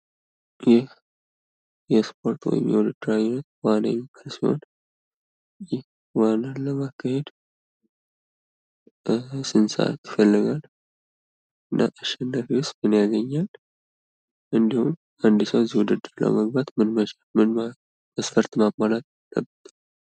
ይህ የስፖርት ወይም የውድድር አይነት ዋና የሚባል ሲሆን ዋናን ለማካሄድ ስንት ሰአት ይፈልጋል? እና አሸናፊስ ምን ያገኛል። እንድሁም አንድ ሰው እዚህ ውድድር ውስጥ ለመግባት ምን መቻል አለበት? ምን መስፈርት ማሟላት አለበት?